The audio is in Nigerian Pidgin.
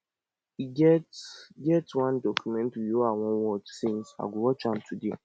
e get get one documentary wey i wan watch since i go watch am today